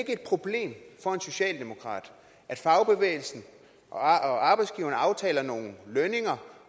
et problem for en socialdemokrat at fagbevægelsen og arbejdsgiverne aftaler nogle lønninger